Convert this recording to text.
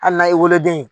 Hali n'a ye woloden